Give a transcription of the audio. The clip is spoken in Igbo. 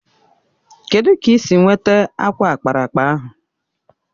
Kedụ ka ị si nweta akwa ákpáraàkpà ahụ?